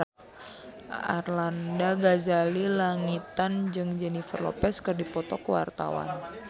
Arlanda Ghazali Langitan jeung Jennifer Lopez keur dipoto ku wartawan